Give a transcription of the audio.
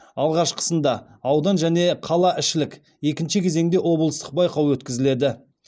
алғашқысында аудан және қалаішілік екінші кезеңде облыстық байқау өткізіледі